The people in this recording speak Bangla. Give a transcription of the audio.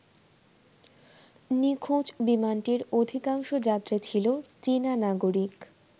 নিখোঁজ বিমানটির অধিকাংশ যাত্রী ছিল চীনা নাগরিক।